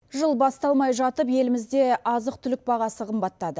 жыл басталмай жатып елімізде азық түлік бағасы қымбаттады